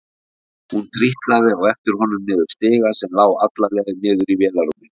Hún trítlaði á eftir honum niður stiga sem lá alla leið niður í vélarrúmið.